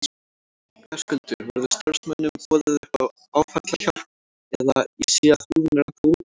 Höskuldur: Verður starfsmönnum boðið upp á áfallahjálp eða, ég sé að búðin er ennþá opin?